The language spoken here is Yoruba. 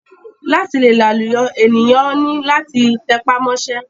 Láti le làlùyọ ènìyàn ni láti tẹpá mọ́ṣẹ́.